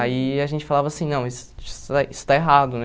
Aí a gente falava assim, não, isso isso está isso está errado, né?